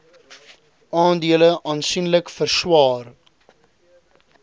aandele aansienlik verswaar